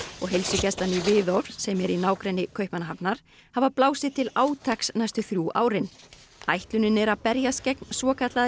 og heilsugæslan í Hvidovre sem er í nágrenni Kaupmannahafnar hafa blásið til átaks næstu þrjú árin ætlunin er að berjast gegn svokallaðri